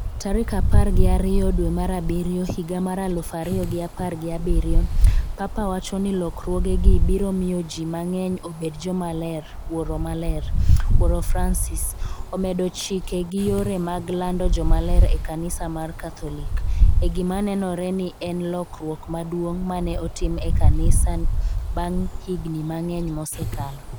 tarik apar gi ariyo dwe mar abiriyo higa mar aluf ariyo gi apar gi abiriyo. Papa wacho ni lokruogegi biro miyo ji mang’eny obed jomaler Wuoro Maler, wuoro Francis, omedo chike gi yore mag lando jomaler e Kanisa mar Katholik, e gima nenore ni en lokruok maduong’ ma ne otim e kanisa bang’ higni mang'eny mosekalo.